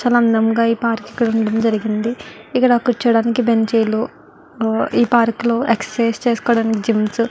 చాల అందంగా ఈ పార్క్ ఇక్కడ ఉండడం జరిగింది ఇక్కడ కురుచోడానికి బెంచ్ లు ఈ పార్క్ లో ఎక్సర్సిస్ చేస్కుకోడానికి జిమ్స్ --